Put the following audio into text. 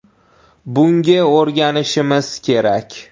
Bunga o‘rganishimiz kerak.